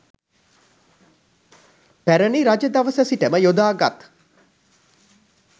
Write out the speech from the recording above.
පැරණි රජ දවස සිට ම යොදාගත්